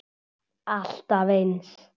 Alltaf eins.